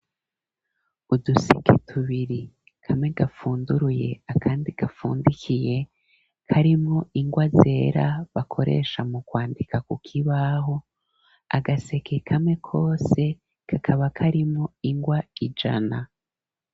Uduseke tubiri kamwe gafunduruye akandi gafundikiye, karimwo ingwa zera bakoresha mu kwandika kukibaho, agaseke kamwe kose kakaba karimwo ingwa ijana.